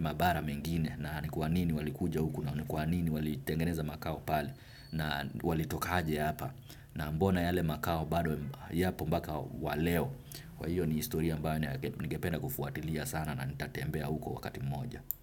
mabara mengine na ni kwa nini walikuja huku na ni kwa nini walitengeneza makao palw na walitoka aje hapa na mbona yale makao bado yapo mbaka wa leo kwa hiyo ni historia ambayo ningependa kufuatilia sana na nitatembea huko wakati mmoja.